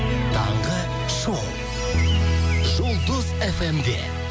таңғы шоу жұлдыз фм де